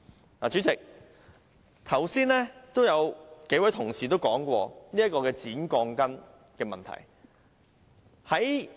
代理主席，剛才也有幾位同事提出剪短鋼筋的問題。